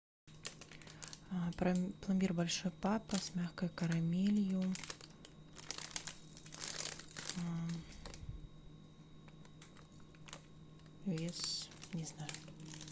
пломбир большой папа с мягкой карамелью вес не знаю